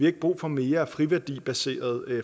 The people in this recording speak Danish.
ikke brug for mere friværdibaseret